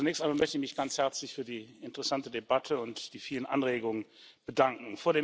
Zunächst einmal möchte mich ganz herzlich für die interessante Debatte und die vielen Anregungen bedanken.